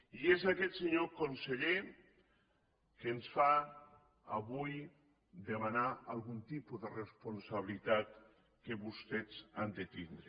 i és això senyor conseller el que ens fa avui demanar algun tipus de responsabilitat que vostès han de tindre